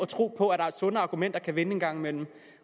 tror på at også sunde argumenter kan vinde en gang imellem